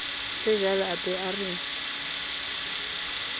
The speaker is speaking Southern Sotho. tsejwalo a ba a re